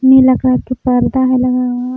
नीला कलर के पर्दा हई लगावल।